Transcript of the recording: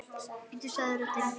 Bíddu sagði röddin.